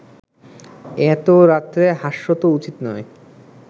এত রাত্রে হাস্য তো উচিত নয়